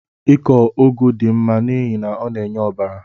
Ịkọ ugu dị mma n'ihi na ọ na-enye ọbara